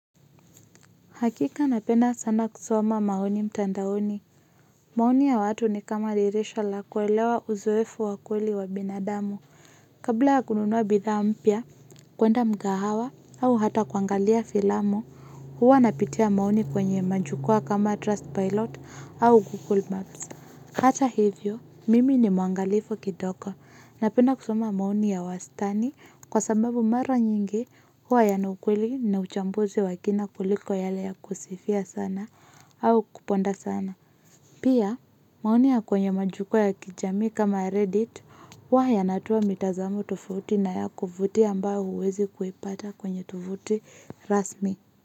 Hakika napenda sana kusoma maoni mtandaoni. Maoni ya watu ni kama dirisha la kuelewa uzoefu wa kweli wa binadamu. Kabla ya kununua bidhaa mpya, kuenda mgahawa au hata kuangalia filamu, huwa napitia maoni kwenye majukwaa kama trust pilot au google maps. Hata hivyo, mimi ni mwangalifu kidogo napenda kusoma maoni ya wastani kwa sababu mara nyingi huwa yana ukweli na uchambuzi wa kina kuliko yale ya kusifia sana au kuponda sana. Pia, maoni ya kwenye majukwa ya kijami kama Reddit huwa yanatoa mitazamo tofauti na ya kuvutia ambayo huwezi kuipata kwenye tovuti rasmi.